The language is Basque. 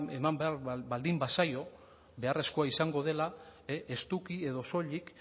eman behar baldin bazaio beharrezkoa izango dela estuki edo soilik